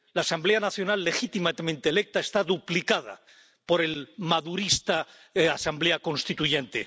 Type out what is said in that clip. La Asamblea Nacional legítimamente electa está duplicada por la madurista Asamblea constituyente.